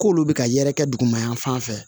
K'olu bɛ ka yɛrɛkɛ duguma yan fan fɛ